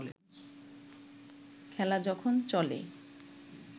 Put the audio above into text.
খেলা যখন চলে